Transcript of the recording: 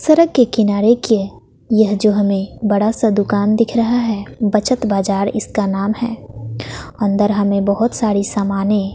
सड़क के किनारे के यह जो हमें बड़ा सा दुकान दिख रहा है। बचत बाजार इसका नाम है। अंदर हमें बहोत सारी समाने--